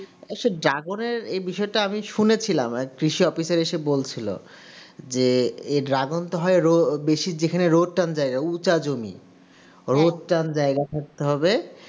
তো Dragon এর বিষয়টা আমি শুনেছিলাম কৃষি officer এসে বলেছিল যে এই Dragon টা হয় বেশি যেখানে রোদ টান দেয় উচা জমি রোদ টান জায়গা থাকতে হবে